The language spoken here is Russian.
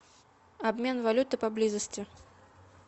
обмен валюты поблизости